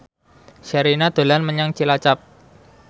Sherina dolan menyang Cilacap